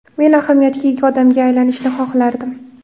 Men ahamiyatga ega odamga aylanishni xohlardim.